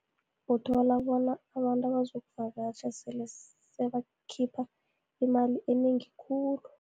Uthola bona, abantu abazokuvakatjha sele sebakhipha imali enengi khulu.